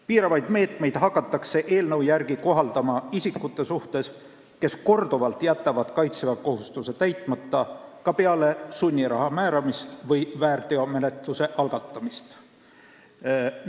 Piiravaid meetmeid hakatakse eelnõu järgi kohaldama isikute suhtes, kes jätavad korduvalt, ka peale sunniraha määramist või väärteomenetluse algatamist kaitseväekohustuse täitmata.